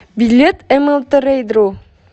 билет млтрейдру